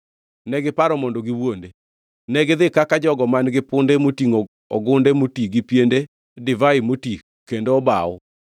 negiparo mondo giwuonde. Negidhi kaka jogo man-gi punde motingʼo ogunde moti gi piende divai moti kendo obaw.